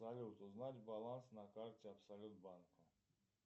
салют узнать баланс на карте абсолют банка